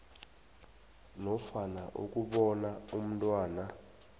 nofana ukubona umntwana